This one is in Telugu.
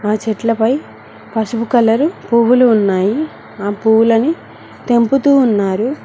ఆ చెట్లపై పసుపు కలరు పువ్వులు ఉన్నాయి ఆ పువ్వులని తెంపుతూ ఉన్నారు.